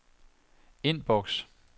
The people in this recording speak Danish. indboks